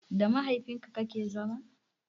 Da mahaifin ka kake zama?